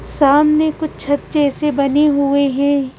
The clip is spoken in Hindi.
सामने कुछ छत जैसे से बने हुए हैं।